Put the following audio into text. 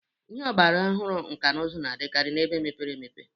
Ihe ọgbara ọhụrụ nka n'ụzụ na-adịkarị na ebe mepepere.